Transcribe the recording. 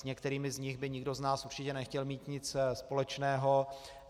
S některými z nich by nikdo z nás určitě nechtěl mít nic společného.